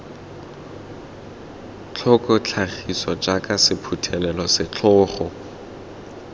tlhoko tlhagiso jaaka sephuthelo setlhogo